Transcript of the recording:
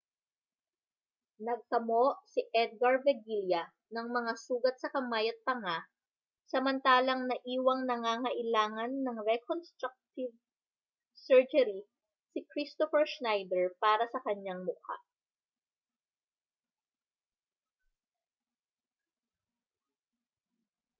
nagtamo si edgar veguilla ng mga sugat sa kamay at panga samantalang naiwang nangangailangan ng reconstructive surgery si kristoffer schneider para sa kanyang mukha